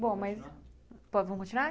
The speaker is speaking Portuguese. Bom, mas bom vamos continuar?